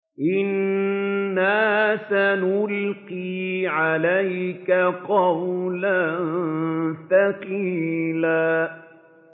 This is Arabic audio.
إِنَّا سَنُلْقِي عَلَيْكَ قَوْلًا ثَقِيلًا